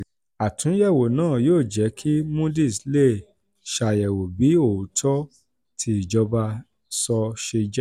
àtúnyẹ̀wò náà yóò jẹ́ kí moody's lè ṣàyẹ̀wò bí òótọ́ tí ìjọba sọ ṣe jẹ́.